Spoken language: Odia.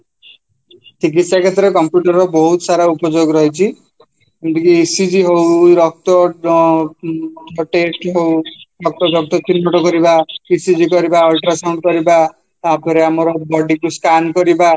ଚିକିସ୍ୟା କ୍ଷେତ୍ରରେ computer ର ବହୁତ ସାରା ଉପଯୋଗ ରହିଛି ଏମିତିକି ECG ହଉ ରକ୍ତ ଅଂ test ହଉ ରକ୍ତ ଚିହ୍ନଟ କରିବା, ECG କରିବା, ultrasound କରିବା ତାପରେ ଆମର body କୁ scan କରିବା